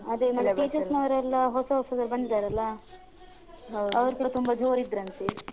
ನಮ್ಮ್‌ teachers ವರೆಲ್ಲ ಹೊಸ ಹೊಸಬ್ರು ಬಂದಿದ್ದಾರಲ್ಲ ಅವ್ರ್ ಕೂಡ ತುಂಬಾ ಜೋರ್ ಇದ್ರಂತೆ.